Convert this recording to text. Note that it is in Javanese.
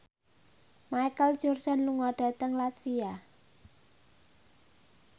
Michael Jordan lunga dhateng latvia